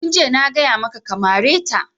Tun jiya na gaya maka ka mare ta!